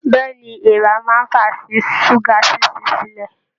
Bẹẹni, èèrà máa n fà sí ṣuga ṣiṣi silẹ.